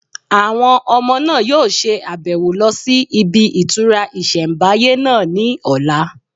Àwọn ọmọ náà yóò ṣe àbẹ̀wò lọ sí ibi ìtura ìsẹ̀mbáyé náà ní ọ̀la